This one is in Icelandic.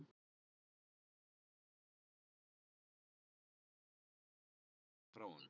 Góða kvöldið og gleðilega hátíð sagði maðurinn og Kamilla fann strax góða strauma frá honum.